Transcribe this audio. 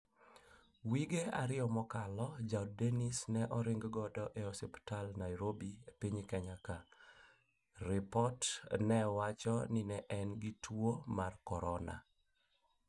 Wige ariyo mokalo jaod denis ne oring go eosiptal Nairobi e piny kenya ka. ripot ne wacho ni ne en gi tuo mar korona